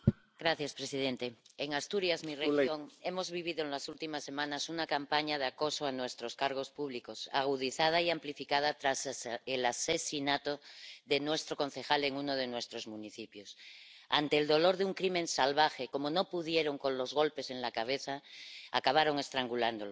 Señor presidente, en Asturias, mi región, hemos vivido en las últimas semanas una campaña de acoso a nuestros cargos públicos, agudizada y amplificada tras el asesinato de nuestro concejal en uno de nuestros municipios. Quisiera expresar mi dolor ante este crimen salvaje como no pudieron con los golpes en la cabeza, acabaron estrangulándolo.